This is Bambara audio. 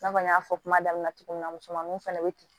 I n'a fɔ n y'a fɔ kuma daminɛ na cogo min na musomaninw fana bɛ ten